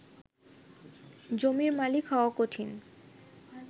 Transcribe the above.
জমির মালিক হওয়া কঠিন